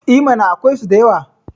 E mana, akwaisu da yawa.